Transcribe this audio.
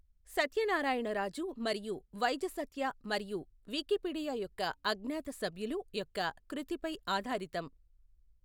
సత్యనారాయణ రాజు మరియు వైజసత్య మరియు వికీపీడియా యొక్క అజ్ఞాత సభ్యులు యొక్క కృతిపై ఆధారితం.